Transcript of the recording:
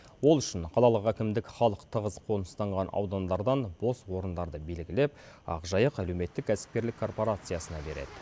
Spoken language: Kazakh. ол үшін қалалық әкімдік халық тығыз қоныстанған аудандардан бос орындарды белгілеп ақжайық әлеуметтік кәсіпкерлік корпорациясына береді